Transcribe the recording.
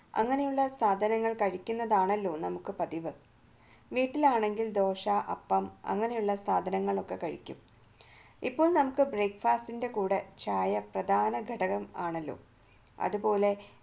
അങ്ങനെയുള്ള സാധനങ്ങൾ കഴിക്കുന്നതാണല്ലോ നമ്മുടെ പതിവ് വീട്ടിലാണെങ്കിൽ ദോശ അപ്പം അങ്ങനെയുള്ള സാധനങ്ങൾ ഒക്കെ കഴിക്കും ഇപ്പോൾ നമുക്ക് brekfast കൂടെ പ്രധാന ഘടകമാണല്ലോ അതുപോലെ